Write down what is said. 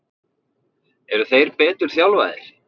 Eru þeir betur þjálfaðir?